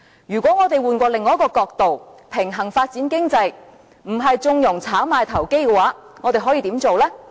如果我們換另一個角度，平衡發展經濟，不是縱容炒賣投機，我們可以怎樣做呢？